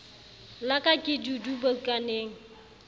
la ka ke dudu bukaneng